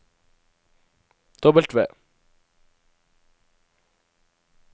W